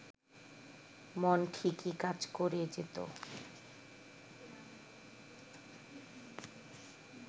মন ঠিকই কাজ করে যেত